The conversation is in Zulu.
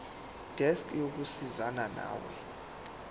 desk yokusizana nawe